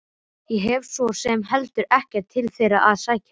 Ég hef svo sem heldur ekkert til þeirra að sækja.